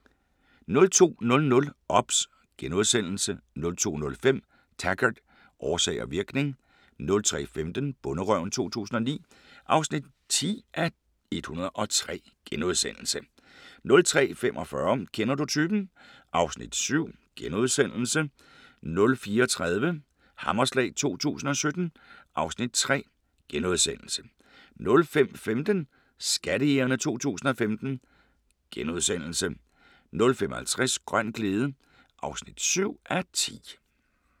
02:00: OBS * 02:05: Taggart: Årsag og virkning 03:15: Bonderøven 2009 (10:103)* 03:45: Kender du typen? (Afs. 7)* 04:30: Hammerslag 2017 (Afs. 3)* 05:15: Skattejægerne 2015 * 05:50: Grøn glæde (7:10)